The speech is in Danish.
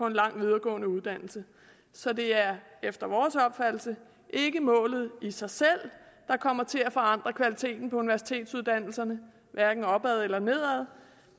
en lang videregående uddannelse så det er efter vores opfattelse ikke målet i sig selv der kommer til at forandre kvaliteten på universitetsuddannelserne hverken opad eller nedad